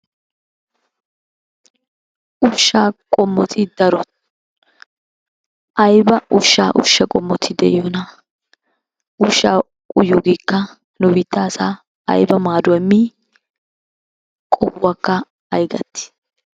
Ushshaa qommoti daro. Ayiba ushsha ushsha qommoti de'iyonaa? ushshaa uyiyoogeekka nu biitta asaa ayiba maaduwa immii? Qohuwakka ayi gattii?